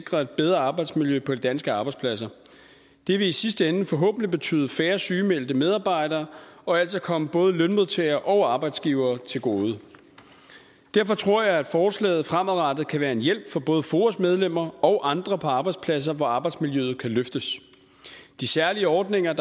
sikre et bedre arbejdsmiljø på de danske arbejdspladser det vil i sidste ende forhåbentlig betyde færre sygemeldte medarbejdere og altså komme både lønmodtagere og arbejdsgivere til gode derfor tror jeg at forslaget fremadrettet kan være en hjælp for både foas medlemmer og andre på arbejdspladser hvor arbejdsmiljøet kan løftes de særlige ordninger